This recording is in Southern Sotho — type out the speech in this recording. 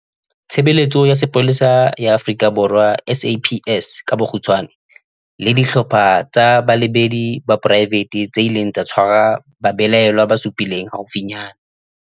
Tshe beletso ya Sepolesa ya Afrika Borwa, SAPS, le dihlopha tsa balebedi ba poraefete tse ileng tsa tshwara babelaellwa ba supileng haufinyane.